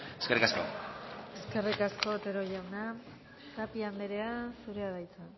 eskerrik asko eskerrik asko otero jauna tapia anderea zurea da hitza